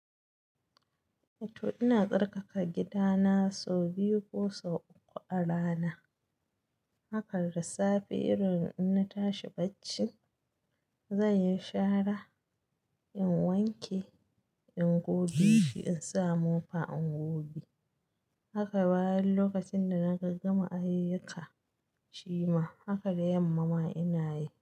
To ina tsarkaka gidana sau biyu ko sau uku a rana. Haka da safe irin in na tashi bacci, zan yi shara, in wanke, in goge shi, in sa mofa, in goge. Haka bayan lokacin da na gaggama ayyuka shima, haka da yamma ma ina yi.